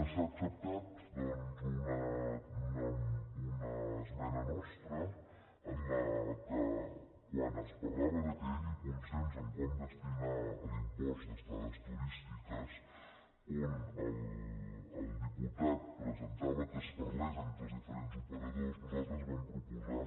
s’ha acceptat doncs una esmena nostra en què quan es parlava que hi hagi consens en com destinar l’im·post d’estades turístiques on el diputat presentava que es parlés entre els diferents operadors nosaltres vam proposar